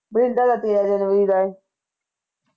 ਬ੍ਰਿੰਦਾ ਦਾ ਤੇਰਾ ਜਨਵਰੀ ਦਾ ਐ